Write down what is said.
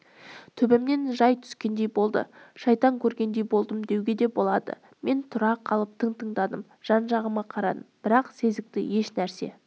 төбемнен жай түскендей болды шайтан көргендей болдым деуге де болады мен тұра қалып тың тыңдадым жан-жағыма қарадым бірақ сезікті ешнәрсе